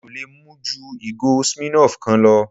Mi ò lè mu ju ìgò Smirnoff kan lọ